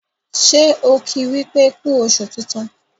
ṣe ki wípé ku oṣù tintun?